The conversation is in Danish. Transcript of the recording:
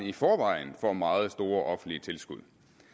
i forvejen får meget store offentlige tilskud